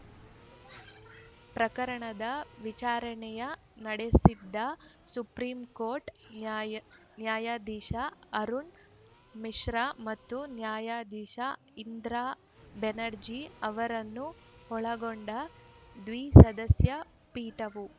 ಪ್ರಕರಣದ ವಿಚಾರಣೆ ನಡೆಸಿದ ಸುಪ್ರಿಂ ಕೋರ್ಟ್‌ ನ್ಯಾಯಾ ನ್ಯಾಯಾಧೀಶ ಅರುಣ್‌ ಮಿಶ್ರಾ ಮತ್ತು ನ್ಯಾಯಧೀಶ ಇಂದಿರಾ ಬ್ಯಾನರ್ಜಿ ಅವರನ್ನು ಒಳಗೊಂಡ ದ್ವಿಸದಸ್ಯ ಪೀಠವು